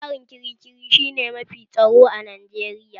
Gidan yarin kirikiri shi ne mafi tsaro a Najeriya